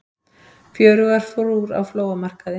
Fjörugar frúr á flóamarkaði